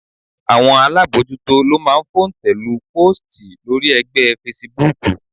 Àwọn alábojútó ló máa ń fòǹtẹ̀-lu póòstì lórí ẹgbẹ́ fesibúùkù